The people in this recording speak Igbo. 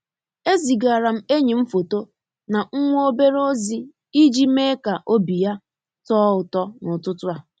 E zigara m enyi m foto na nwa obere ozi i ji mee ka obi ya too ụtọ n'ututu a.